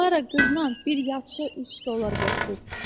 Klara qızla bir yatışı 3 dollar götürüb.